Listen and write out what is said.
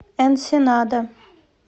энсенада